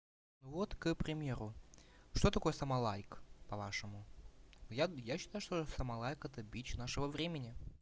ну вот к примеру что такое самолайк по-вашему я я считал что самолайк это бич нашего времени